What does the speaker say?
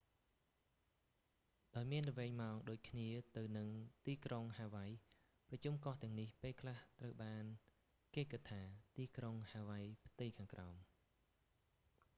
ដោយមានល្វែងម៉ោងដូចគ្នាទៅនឹងទីក្រុង ហាវៃ ប្រជុំកោះទាំងនេះ ពេលខ្លះត្រូវបានគេគិតថា ទីក្រុងហាវៃផ្ទៃខាងក្រោម